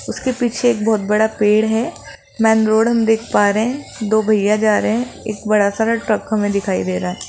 उसके पीछे एक बहहोत बड़ा पेड़ है मैन रोड हम देख पा रे हैं दो भईया जा रहे हैं एक बड़ा सारा ट्रक हमें दिखाई दे रहा --